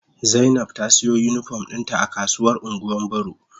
Zainab ta siya unipom dinta a kasuwar ungwan boro.